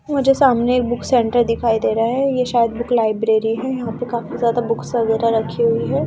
मुझे सामने एक बुक सेंटर दिखाई दे रहा है ये शायद बुक लाइब्रेरी है यहां पे काफी ज्यादा बुक्स वगैरह रखे हुए हैं ।